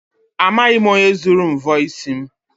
Amaghị m onye zuru mvọ isi m.